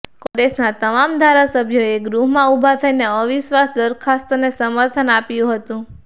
કોંગ્રેસના તમામ ધારાસભ્યોએ ગૃહમાં ઉભા થઈને અવિશ્વાસ દરખાસ્તને સમર્થન આપ્યું હતું